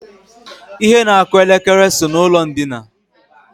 Ihe na-akụ elekere so n'ụlọ ndina